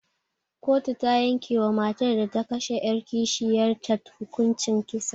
Koto ta yanke wa matar da ta kashe 'yar kishiyar ta hukuncin kisa.